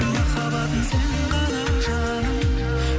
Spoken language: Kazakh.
махаббатым сен ғана жаным